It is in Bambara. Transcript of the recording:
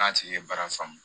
N'a tigi ye baara faamu